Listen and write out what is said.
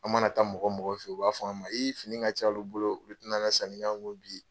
An mana taa mɔgɔ mɔgɔ fɛ ye u b'a fɔ an ma fini ka ca olu bolo u tɛ na se ka sanni k'an kun bi.